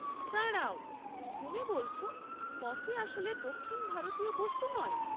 দাঁড়াও, তুমি বলছ কফি আসলে দক্ষিণ ভারতীয় বস্তু নয়?